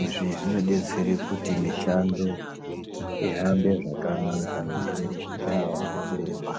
izvi zvinobtsera kuti mishando ihambe zvakanaka nekurerutsira ana chiremba .